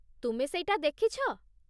ତୁମେ ସେଇଟା ଦେଖିଛ ?